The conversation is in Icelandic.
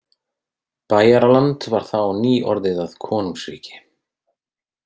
Bæjaraland var þá nýorðið að konungsríki.